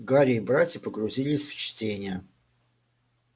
гарри и братья погрузились в чтение